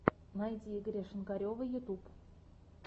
найти игоря шинкарева ютюб